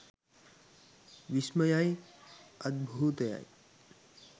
විස්මය යි අද්භුතය යි.